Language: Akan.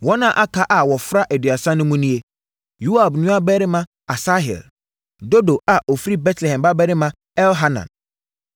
Wɔn a aka a wɔfra Aduasa no mu nie: Yoab nuabarima Asahel; Dodo a ɔfiri Betlehem babarima Elhanan;